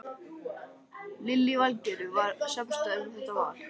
Lillý Valgerður: Var samstaða um þetta val?